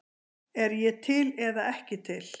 Er ég til eða ekki til?